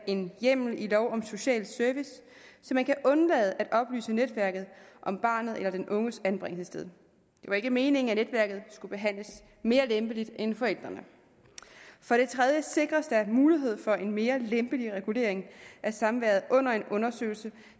en hjemmel i lov om social service så man kan undlade at oplyse netværket om barnets eller den unges anbringelsessted det var ikke meningen at netværket skulle behandles mere lempeligt end forældrene for det tredje sikres der mulighed for en mere lempelig regulering af samværet under en undersøgelse